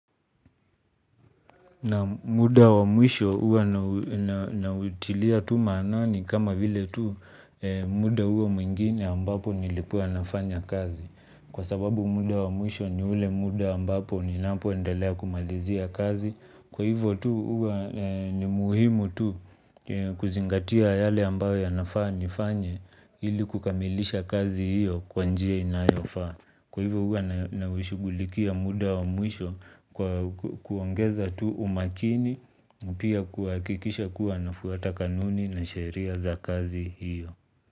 Naam, muda wa mwisho huwa nautilia tu manani kama vile tu muda huo mwingine ambapo nilikuwa nafanya kazi. Kwa sababu muda wa mwisho ni ule muda ambapo ninapoendelea kumalizia kazi. Kwa hivo tu huwa ni muhimu tu kuzingatia yale ambayo nafaa nifanye ili kukamilisha kazi hio kwa njia inayofaa. Kwa hivo huwa nashugulikia muda wa mwisho kwa kuongeza tu umakini, pia kuhakikisha kuwa nafuata kanuni na sheria za kazi hio.